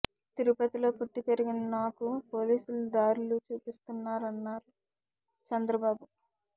తిరుపతిలో పుట్టి పెరిగిన నాకు పోలీసులు దారులు చూపిస్తున్నారన్నారు చంద్రబాబు